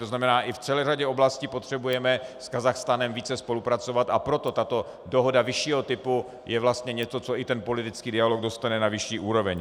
To znamená, i v celé řadě oblastí potřebujeme s Kazachstánem více spolupracovat, a proto tato dohoda vyššího typu je vlastně něco, co i ten politický dialog dostane na vyšší úroveň.